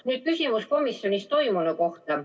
Nüüd küsimus komisjonis toimunu kohta.